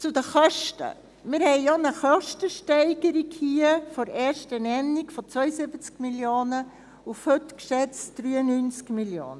Zu den Kosten: Wir haben hier auch eine Kostensteigerung von der ersten Nennung von 72 Mio. Franken auf heute geschätzt 93 Mio. Franken.